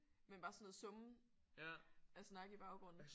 Men bare sådan noget summen af snak i baggrunden